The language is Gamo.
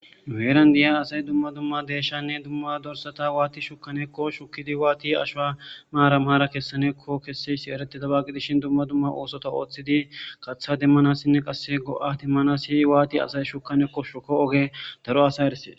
Nu heeran diya asay dumma dumma deeshshanne dumma dumma dorsata waati shukkanekko shukkidi waati ashuwa maaran maaran kessanekko kesseysi eretidaba qidishin dumma dumma oosota ooththidi katha demmanassinne qasse go7ati manasi waati asay shukanakko shuko ogge daro asay eresses.